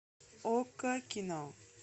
окко кино